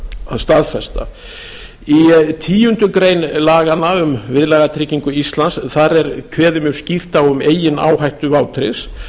staðfesta í tíundu grein laganna um viðlagatryggingu íslands er kveðið mjög skýrt á um eigin áhættu vátryggðs